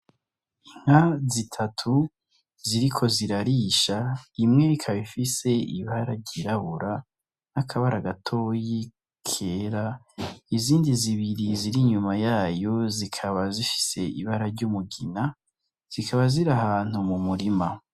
Inka zitatu ziriko zirarisha, imwe ikaba ifise ibara ry'irabura n'akabara gatoyi kera izindi zibiri ziri inyuma yayo zikaba zifise ibara ry'umugina zikaba ziri ahantu mu murima.